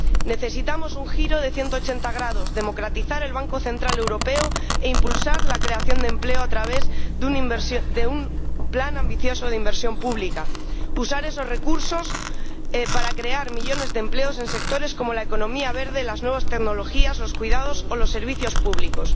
Necesitamos un giro de 180 grados, democratizar el Banco Central Europeo e impulsar la creación de empleo a través de un plan ambicioso de inversión pública, y usar esos recursos para crear millones de empleos en sectores como la economía verde, las nuevas tecnologías, los cuidados o los servicios públicos.